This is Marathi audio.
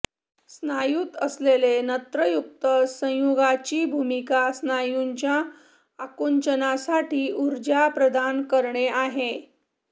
स्नायूत असलेले नत्रयुक्त संयुगांची भूमिका स्नायूंच्या आकुंचनासाठी ऊर्जा प्रदान करणे आहे